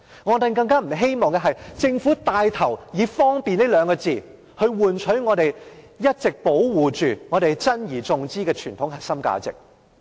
我們更不希望政府牽頭以"方便"這兩個字，換取我們一直保守着且珍而重之的傳統核心價值。